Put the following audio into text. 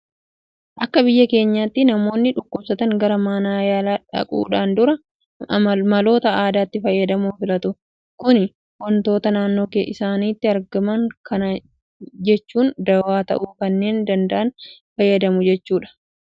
Akka biyya keenyaatti namoonni dhukkubsatan gara mana yaalaa dhaquudhaan dura maloota aadaatti fayyadamuu filatu. Kuni waantota naannoo isaaniitti argaman kana jechuun dawaa ta'uu kanneen danda'an fayyadamuu jechuudha. Kun immoo saayinsiidhaan waanta hin qoratamneef miidhaa dabalataa namoota irraan gahaa jira.